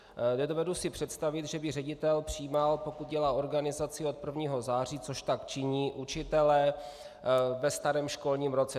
Nedovedu si představit, že by ředitel přijímal, pokud dělá organizaci, od 1. září, což tak činí, učitele ve starém školním roce.